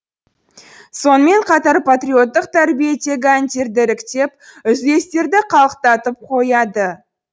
сонымен қатар патриоттық тәрбиедегі әндерді іріктеп үзілістерде қалықтатып қояды